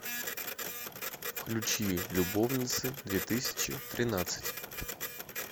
включи любовницы две тысячи тринадцать